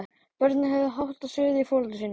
Börnin höfðu hátt og suðuðu í foreldrum sínum.